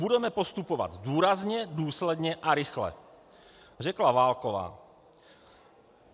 "Budeme postupovat důrazně, důsledně a rychle," řekla Válková.